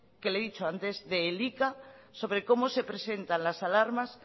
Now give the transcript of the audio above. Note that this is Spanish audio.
que le he dicho antes de elika sobre cómo se presentan las alarmas